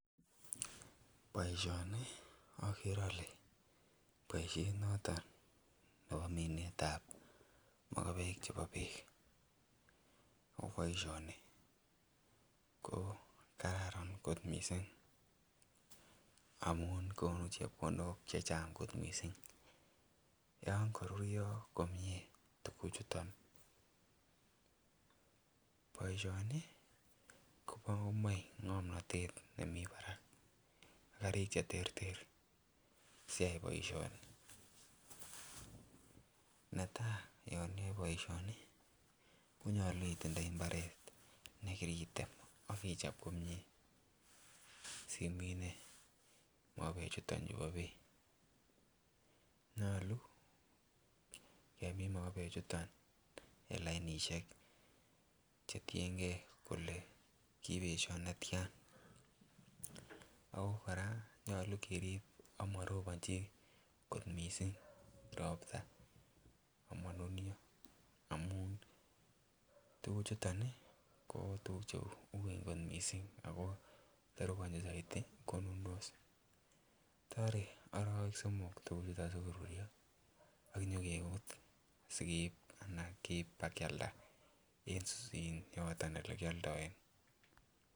Boisyoni ogere ole boisyeet noton nebo miinet ab mogobeek chebo biik ago boisyoni ko kararan kot mising amuun konuu chepkondook chechang kot mising , yon koruryo komyee tuguk chuton, boisyoni komoe ngomnotet nemii barak gariik cheterter siyaai boisyoni netain yon iyoe boisyoni konyolu itindoii imbareet negiriteem ak ichoob komyee mogobeek chuton chebo biik nyolu kemiin mogobeek chuton en lainisheek chetiyengee kolee kibesyoo netyaan, ago koraa nyolu keriib amarobonchi koot mising ropta amonunyo omun tuguk chuton iih ko tuguk cheuween kot mising ago tarobonchin soiti konundos toree oroweek somol tuguk chuton sigoruryoo ak nyogebuut sinyogeib anan keiib ba kyalda en yotomn bo kyoldoenn